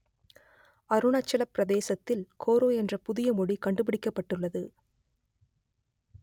அருணாச்சலப் பிரதேசத்தில் கோரோ என்ற புதிய மொழி கண்டுபிடிக்கப்பட்டுள்ளது